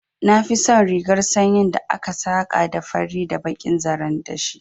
Na fi son rigar sanyin da aka saka da fari da bakin zaren dashi